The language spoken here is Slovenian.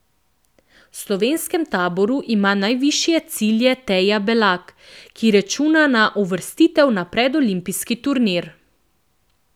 V slovenskem taboru ima najvišje cilje Teja Belak, ki računa na uvrstitev na predolimpijski turnir.